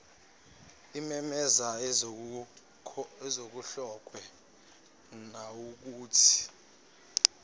ememeza esekhohlwe nawukuthi